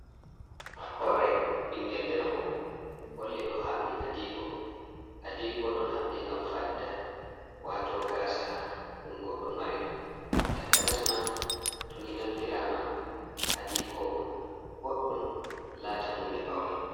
Hoore bingel debbo, holli ɗo haɓbi adiko, adiko ɗon habbe ngam fadda wato gaasa, ɗum goɗɗo mari takanasma to ni naftirama adiko boɗɗum laata hunde faune.